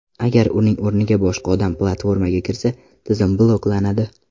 Agar uning o‘rniga boshqa odam platformaga kirsa, tizim bloklanadi.